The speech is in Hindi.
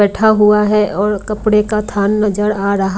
बैठा हुआ है और कपड़े का थान नजर आ रहा --